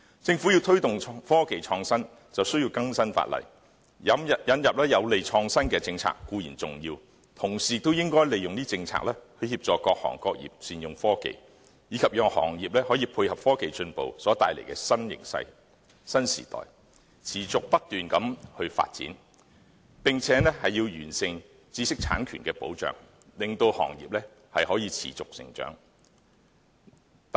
政府要推動科技創新便需要更新法例，引入有利創新的政策固然重要，同時也應該利用政策協助各行各業善用科技，以及讓行業配合科技進步所帶來的新形勢和新時代，持續不斷地發展，並且要完善知識產權的保障，令行業可以持續成長。